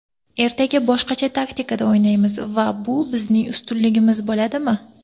Ertaga boshqacha taktikada o‘ynaymiz va bu bizning ustunligimiz bo‘ladimi?